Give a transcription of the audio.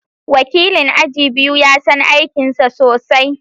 Wakilin aji biyu ya san aikinsa sosai